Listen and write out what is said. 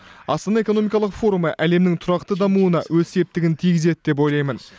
астана экономикалық форумы әлемнің тұрақты дамуына өз септігін тигізеді деп ойлаймын